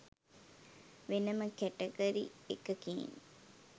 වෙනම කැටගරි එකකින්